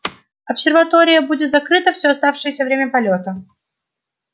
обсерватория будет закрыта всё оставшееся время полёта